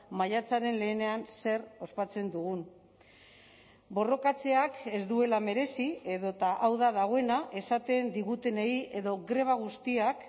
maiatzaren lehenean zer ospatzen dugun borrokatzeak ez duela merezi edota hau da dagoena esaten digutenei edo greba guztiak